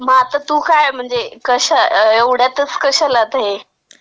मग आता तू काय, म्हणजे कशा.. एवढ्यातच कशाला ते..